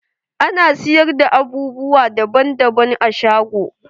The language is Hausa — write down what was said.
Ana siyar da abubuwa daban daban a shago.